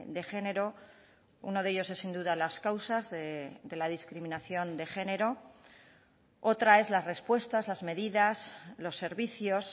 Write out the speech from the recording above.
de género uno de ellos es sin duda las causas de la discriminación de género otra es las respuestas las medidas los servicios